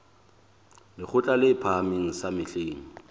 lekgotla le phahameng sa mehleng